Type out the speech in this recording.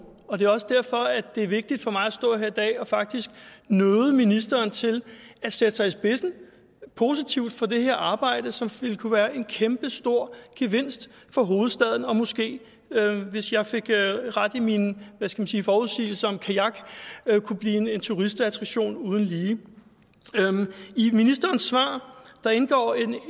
det er også derfor det er vigtigt for mig at stå her i dag og faktisk nøde ministeren til at sætte sig i spidsen positivt for det her arbejde som ville kunne være en kæmpestor gevinst for hovedstaden og måske hvis jeg fik ret i mine forudsigelser om kajak kunne blive en turistattraktion uden lige i ministerens svar indgår et